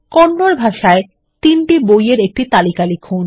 কন্নড বাহ্সায় ৩ টি বইএর একটি তালিকা লিখুন